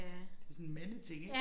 Det sådan mandeting ik